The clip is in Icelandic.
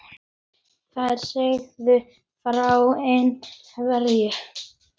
Þær sögðu frá ein- hverju.